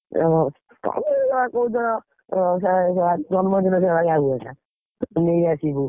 ଉଁ, ତମେ ଯେଉଁଭଳିଆ କହୁଛ, ଆଜି ଜନ୍ମଦିନଟାରେ ହଇରାଣ ହେଇଯାଇଥାନ୍ତି ନେଇଆସିମୁ।